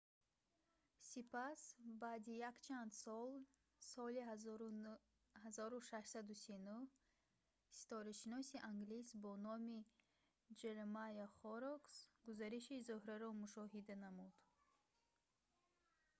сипас баъди якчанд сол соли 1639 ситорашиноси англис бо номи джеремайя хоррокс гузариши зуҳраро мушоҳида намуд